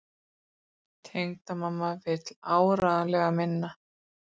Tengdamamma vill áreiðanlega minna.